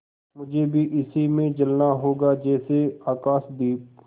मुझे भी इसी में जलना होगा जैसे आकाशदीप